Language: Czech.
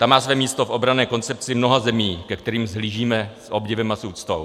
Ta má své místo v obranné koncepci mnoha zemí, ke kterým vzhlížíme s obdivem a s úctou.